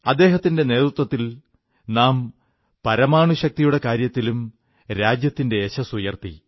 അദ്ദേഹത്തിന്റെ നേതൃത്വത്തിൽ നാം പരമാണുശക്തിയുടെ കാര്യത്തിലും രാജ്യത്തിന്റെ യശസ്സുയർത്തി